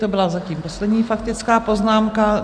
To byla zatím poslední faktická poznámka.